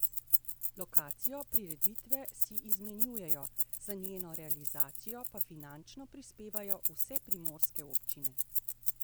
Lokacijo prireditve si izmenjujejo, za njeno realizacijo pa finančno prispevajo vse primorske občine.